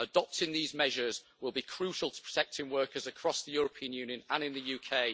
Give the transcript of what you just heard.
Adopting these measures will be crucial to protecting workers across the European Union and in the UK.